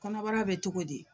Kɔnɔbara bɛ cogo di.